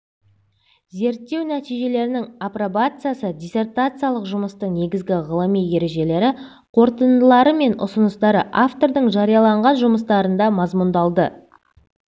зерттеу нәтижелерінің апробациясы диссертациялық жұмыстың негізгі ғылыми ережелері қорытындылары мен ұсыныстары автордың жарияланған жұмыстарында мазмұндалды